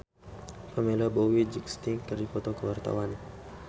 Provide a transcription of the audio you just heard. Pamela Bowie jeung Sting keur dipoto ku wartawan